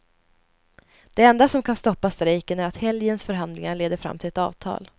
Det enda som kan stoppa strejken är att helgens förhandlingar leder fram till ett avtal.